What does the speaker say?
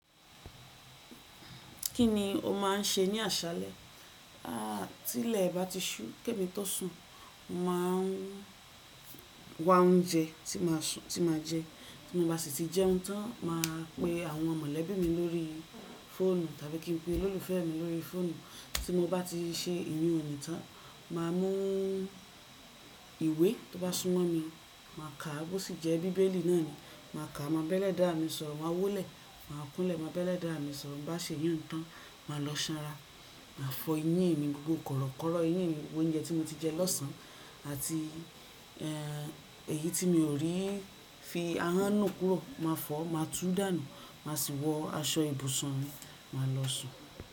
Kí ni o má n ṣe ní àṣálẹ? Tí ilẹ̀ bá ti ṣú, ki ẹ́ẹ̀mí tó sùn, mà á wa oúnjẹ tí mà á jẹ. Bí mo bá sì ti jẹ́ un tán, mà á pe àwọn mọ̀lẹ́bí mi lórí fóònù tàbí kí n pe olólùfẹ́ mi lórí fóònù. Tí mo bá ti ṣe iyùn òní tán, mà á mú ìwé tó bá súnmọ́ mi, mà á kà á, bó sì jẹ́ bíbélì náà ni, mà á kà á, mo máa bẹ́'lẹ̀dáa mi sọ̀rọ̀, mà á wólẹ̀, mà á kúnlẹ̀, mo máa bẹ́'lẹ̀dáa mi sọ̀rọ̀. Ti n bá ṣe iyùn tán, mà á lọ ṣan ra, mà á fọ eyín mi, gbogbo kọ̀rọ̀kọ̀rọ̀ eyín mi, gbogbo oúnjẹ tí mo ti jẹ lọ́sàn-án, àti èyí tí mi o rí fi ahọ́n nu kúrò, mà á fọ̀ọ́, mà á tú dànù, mà á sì wọ aṣọ ibùsùn mi, mà á lọ sùn.